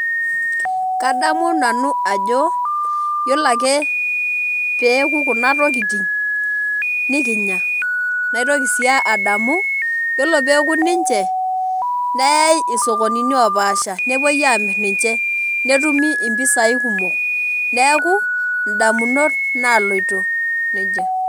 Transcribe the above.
Kadamu nanu ajo yiolo ake pee eoku kuna tokitin nikinya naitoki sii adamu yiolo pee eoku ninche neyai isokonini oopaasha nepuoi aamirr ninche netumi mpisaai kumok neeku ndamunot naaloito neija.